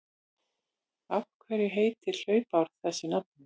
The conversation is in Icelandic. Af hverju heitir hlaupár þessu nafni?